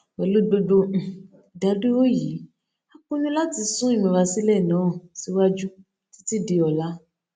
pèlú gbogbo um ìdádúró yìí a pinnu láti sún ìmúrasílè náà síwájú títí di òla